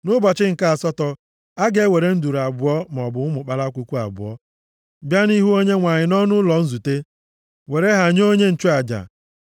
Nʼụbọchị nke asatọ, ọ ga-ewere nduru abụọ maọbụ ụmụ kpalakwukwu abụọ bịa nʼihu Onyenwe anyị nʼọnụ ụzọ ụlọ nzute, were ha nye onye nchụaja.